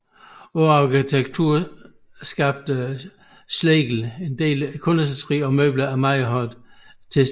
Ud over arkitekturen skabte Schlegel en del kunstindustri og møbler af meget moderne tilsnit